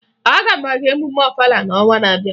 Aga m aga emume Ọfala n'ọnwa na-abịa